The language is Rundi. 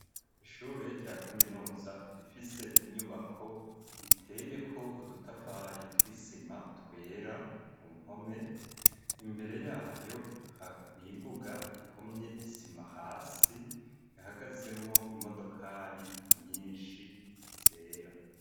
Ishure rya kaminuza rifise inyubako iteyeko udutafari tw'isima twera ku mpome imbere yayo imbuga ihomye isima hasi ihagazemwo imodokari nyinshi zera.